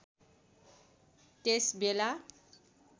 त्यस बेला